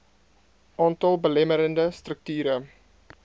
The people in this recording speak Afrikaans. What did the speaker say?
aantal belemmerende strukture